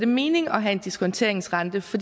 mening at have en diskonteringsrente for